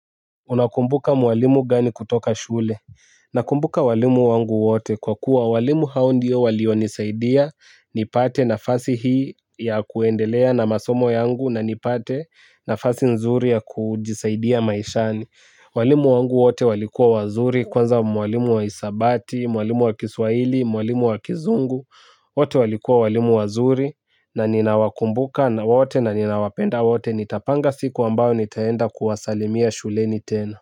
Unakumbuka mwalimu gani kutoka shule? Nakumbuka walimu wangu wote kwa kuwa walimu hao ndio walionisaidia. Nipate nafasi hii ya kuendelea na masomo yangu na nipate nafasi nzuri ya kujisaidia maishani. Walimu wangu wote walikua wazuri kwanza mwalimu wa hisabati, mwalimu wa kiswahili, mwalimu wa kizungu. Wote walikua walimu wazuri na ninawakumbuka na wote na ninawapenda wote. Nitapanga siku ambayo nitaenda kuwasalimia shuleni tena.